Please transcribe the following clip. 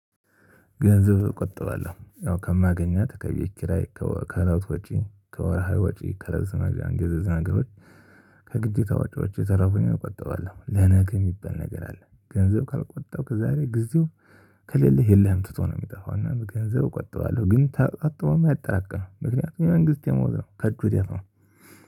ገንዘብ እቆጥባለሁ ያው ከማገኛት ከቤት ኪራይ ከእለት ወጪ ከወርሀዊ ወጪ ከልብሶ መግዣ እነደዚ ከግዴታ ወጭዋች የተረፋኝን እቆጣባለሁ ለነገ የሚባል ነገር አለ። ገንዘብ ካልቆጠብክ ዛሬ ጊዜው ከሌለህ የለህም ትቶ ነው። የሚጠፋው እና ገንዘብ እቆጥባለሁ ግን ተቆጥበውም አያጠራቅም ምክንያቱም የመንግስት ደሞዝ ነው ከእጁ ወደ አፍ ነው